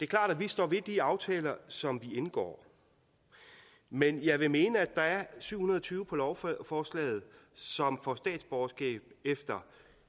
klart at vi står ved de aftaler som vi indgår men jeg vil mene at der er syv hundrede og tyve på lovforslaget som får statsborgerskab efter